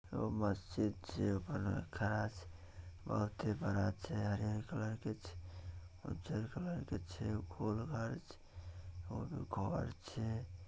मस्जिद छै बड़ा खास बहुत ही बड़ा छै हरिहर कलर के छै उजर कलर के छै और घर छै।